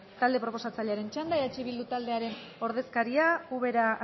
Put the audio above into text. talde proposatzailearen txanda eh bildu taldearen ordezkaria ubera